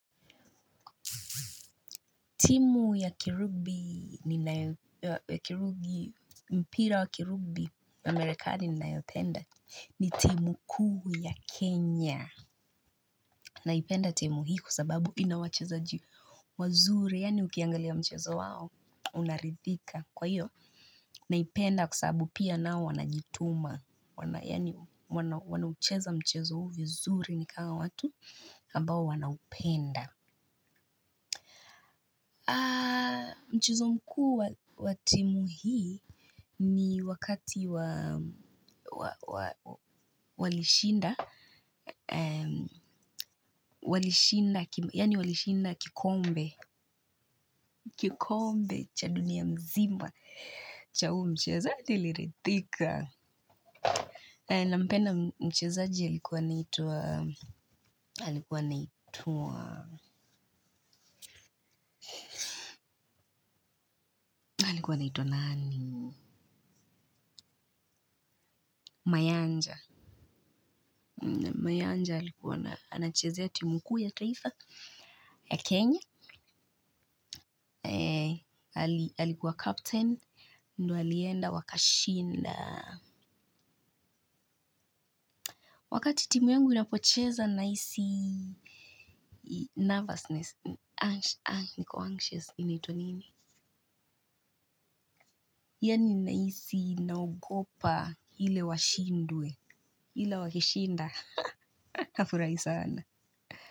Timu ya kirugbi ni mpira wa kirugbi wa amerikani ni naipenda ni timu kuu ya Kenya. Naipenda timu hii kwa sababu inawachezaji wazuri, yani ukiangalia mchezo wao, unaridhika. Kwa hiyo, naipenda kwa sababu pia nao wanajituma, wanayani wanaucheza mchezo uvyo zuri nikanga watu, kabao wanaupenda. Mchezo mkuu watimuhi ni wakati walishinda, yani walishinda kikombe cha dunia mzima. Cha hu mchezo liritika. Nampenda mchiazaji halikuwa naitua, halikuwa naitua, halikuwa naitua nani? Mayanja. Mayanja alikuwa na, anachezea timuku ya taifa ya Kenya. Alikuwa captain. Ndo alienda wakashinda. Wakati timu yangu inapocheza naisi nervousness Anxious. Inaitwa nini? Yani naisi naogopa hile washindwe hila wakishinda hafurai sana.